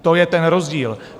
To je ten rozdíl.